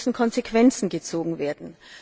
Es müssen Konsequenzen gezogen werden.